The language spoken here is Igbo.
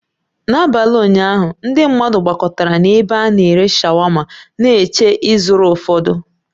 N'abalị ụnyaahụ, ndị mmadụ gbakọtara na ebe ana-ere shawama na-eche ịzụrụ ụfọdụ